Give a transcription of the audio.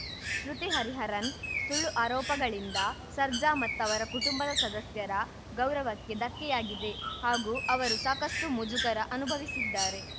ಶ್ರುತಿ ಹರಿಹರನ್‌ ಸುಳ್ಳು ಆರೋಪಗಳಿಂದ ಸರ್ಜಾ ಮತ್ತವರ ಕುಟುಂಬದ ಸದಸ್ಯರ ಗೌರವಕ್ಕೆ ಧಕ್ಕೆಯಾಗಿದೆ ಹಾಗೂ ಅವರು ಸಾಕಷ್ಟುಮುಜುಗರ ಅನುಭವಿಸಿದ್ದಾರೆ